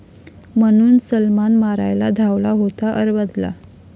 ...म्हणून सलमान मारायला धावला होता अरबाजला!